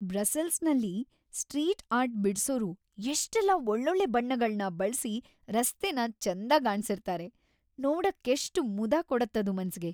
ಬ್ರಸೆಲ್ಸ್ನಲ್ಲಿ street art ಬಿಡ್ಸೋರು ಎಷ್ಟೆಲ್ಲ ಒಳ್ಳೊಳ್ಳೆ ಬಣ್ಣಗಳ್ನ ಬಳ್ಸಿ ರಸ್ತೆನ ಚೆಂದಗಾಣ್ಸಿರ್ತಾರೆ, ನೋಡಕ್ಕೆಷ್ಟ್ ಮುದ ಕೊಡತ್ತದು ಮನ್ಸಿಗೆ.